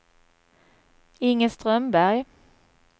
Inge Strömberg